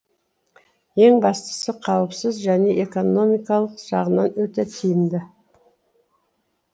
ең бастысы қауіпсіз және экономикалық жағынан өте тиімді